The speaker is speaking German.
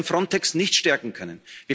Wir werden Frontex nicht stärken können.